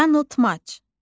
Yanıltmac.